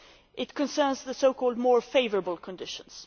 This concerns the so called more favourable conditions.